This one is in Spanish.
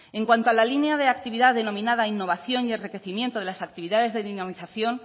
en cuanto a la línea de actividad denominada innovación y enriquecimiento de las actividades de dinamización